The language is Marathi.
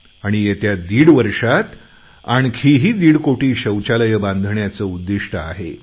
आणि येत्या दीड वर्षात आणखी दीड कोटी शौचालये बांधण्याचे उद्दिष्ट आहे